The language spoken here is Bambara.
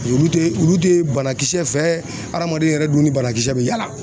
Olu tɛ olu tɛ ye banakisɛ fɛ adamaden yɛrɛ dun ni banakisɛ bɛ yaala